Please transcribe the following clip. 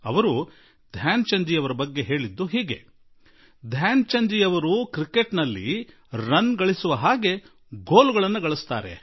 ಅವರು ಧ್ಯಾನ್ ಚಂದ್ ಜೀ ಕುರಿತು ಅವರು ಗೋಲುಗಳನ್ನು ರನ್ನುಗಳಂತೆ ಹೊಡೆಯುವರು ಎಂದು ಹೇಳಿದ್ದರು